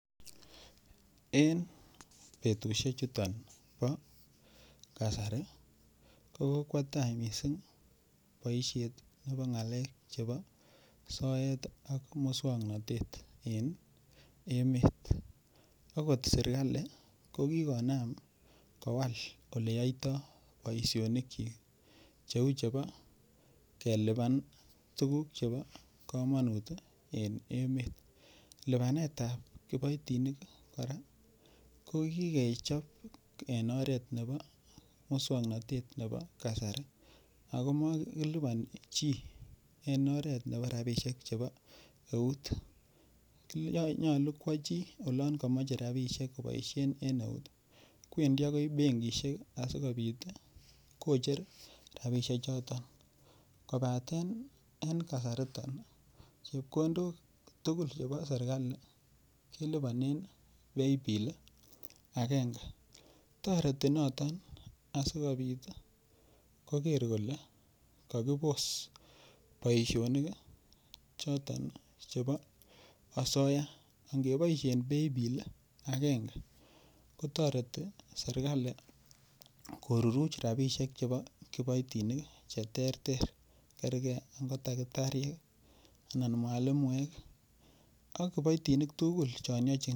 en betushek chuton bo kasari, kochang mising boishet nebo ngaleek chebo soeet iih ak muswoknotete en emet, ogot serkali ko kigonaam kowaal eleyoitoo boishonik kyiik, cheeu chebo kelibaan tuguk chebo komonuut en emet, libaneet ab kiboitinik koraa ko kigechob en oreet nebo muswognotete nebo kasari agoo kiliboni chi en oreet nebo rabishek chebo euut, nyolu kwo chi oloon komoche rabishek koboisheen en euut, kwendii agoi bengishek asigobiit kocher rabishek choton, kobateen en kasariton chepkondook tugul chebo serkali kelibonen paybill iih agenge, toreti noton asigobiit kogeer kole kogiboss boishonik iih choton chebo asoyaa, ingeboishen paybill agenge kotoreti serkali koruruch rabishek chebo kipoitinik iih cheterter, kergee ko takitariek iih anan mwalimuek ak kiboitinik tugul chon yochin